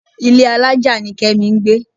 Ilé alájà ni Kẹ́mi ń gbé.